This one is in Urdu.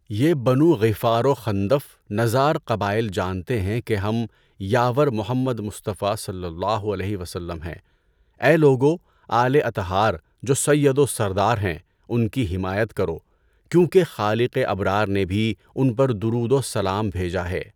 یہ بنو غِفَار و خندف نزار قبائل جانتے ہیں کہ ہم یاور محمد مصطفٰیؐ ہیں۔ اے لوگو آل اطہار جو سید و سردار ہیں ان کی حمایت کرو کیونکہ خالق ابرار نے بھی ان پر درود و سلام بھیجا ہے۔